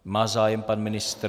Má zájem pan ministr?